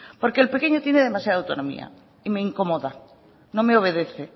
porque el pequeño tiene demasiada autonomía y me incomoda no me obedece